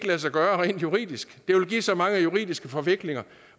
lade sig gøre rent juridisk det vil give så mange juridiske forviklinger